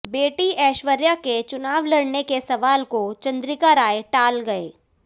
बेटी ऐश्वर्या के चुनाव लड़ने के सवाल को चंद्रिका राय टाल गए